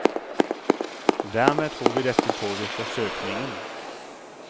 Dermed tror vi dette påvirker søkningen.